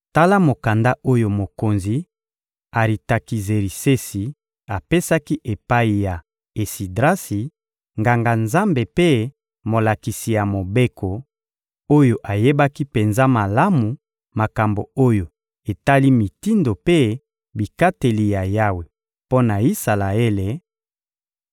Tala mokanda oyo mokonzi Aritakizerisesi apesaki epai ya Esidrasi, Nganga-Nzambe mpe molakisi ya Mobeko, oyo ayebaki penza malamu makambo oyo etali mitindo mpe bikateli ya Yawe mpo na Isalaele: